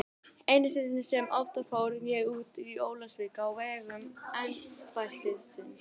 Einu sinni sem oftar fór ég út í Ólafsvík á vegum embættisins.